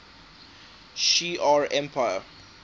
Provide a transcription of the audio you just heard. shi ar empire